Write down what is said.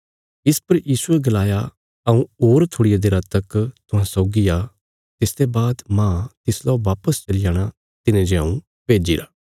इस पर यीशुये गलाया हऊँ होर थोड़िया देरा तक तुहां सौगी आ तिसते बाद माह तिसलौ बापस चली जाणा तिने जे हऊँ भेज्जिरा